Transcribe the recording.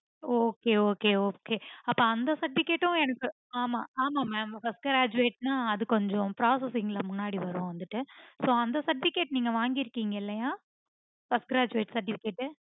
okay okay okay so அந்த certificate உம் எனக்கு. ஆமா ஆமா mam first graduate ந அது கொஞ்சம் processing ல முன்னாடி வரும் வந்துட்டு so certificate நீங்க வாங்கிருக்கிங்க இல்லையா first graduate certificate